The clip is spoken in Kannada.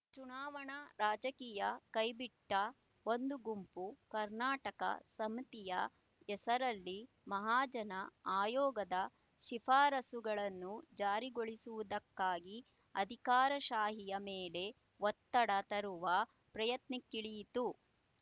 ಚುನಾವಣಾ ರಾಜಕೀಯ ಕೈಬಿಟ್ಟ ಒಂದು ಗುಂಪು ಕರ್ನಾಟಕ ಸಮಿತಿಯ ಹೆಸರಲ್ಲಿ ಮಹಾಜನ ಆಯೋಗದ ಶಿಫಾರಸ್ಸುಗಳನ್ನು ಜಾರಿಗೊಳಿಸುವುದಕ್ಕಾಗಿ ಅಧಿಕಾರಶಾಹಿಯ ಮೇಲೆ ಒತ್ತಡ ತರುವ ಪ್ರಯತ್ನಕ್ಕಿಳಿಯಿತು